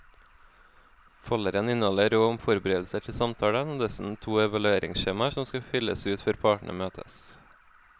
Folderen inneholder råd om forberedelser til samtalen og dessuten to evalueringsskjemaer som skal fylles ut før partene møtes.